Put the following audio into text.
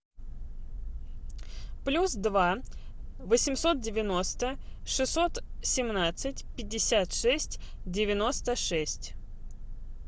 плюс два восемьсот девяносто шестьсот семнадцать пятьдесят шесть девяносто шесть